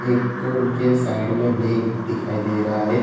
एक उनके साइड में बैग उग दिखाई दे रहा है।